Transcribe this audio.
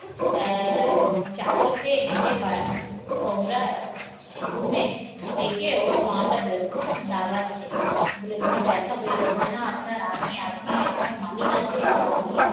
আহ চাকরকে নিজে কামরায় room এ দেখে ওর পা টা দাবাচ্ছে বলে মনে মনে ব্যথা হয়ে যাচ্ছে না আপনার আমি, আপনি আপনি, আমার মালিক আছে আর আপনি